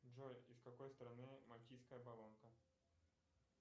джой из какой страны мальтийская болонка